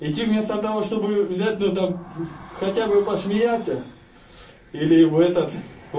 идти вместо того чтобы взять ну там хотя бы посмеяться или в этот в